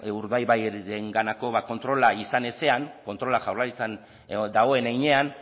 urdaibairenganako kontrola izan ezean kontrola jaurlaritzan dagoen heinean